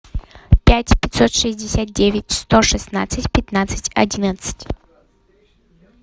пять пятьсот шестьдесят девять сто шестнадцать пятнадцать одиннадцать